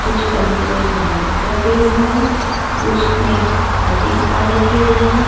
कुछ अलमीरे में बैग्स रखे हुए हैं कुछ में कापी किताब रखे हुए है।